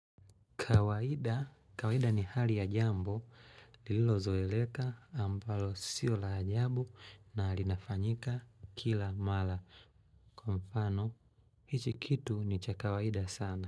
Kawaida, kawaida ni hali ya jambo, lililo zoeleka ambalo sio la ajabu na linafanyika kila mala. Kwa mfano, hichi kitu ni cha kawaida sana.